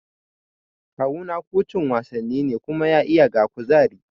Kawuna kucin wasanni ne kuma ya iya ga kuzari